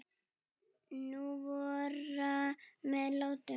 Nú vorar með látum.